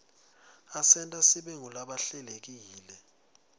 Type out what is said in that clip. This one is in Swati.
asenta sibe ngulabahlelekile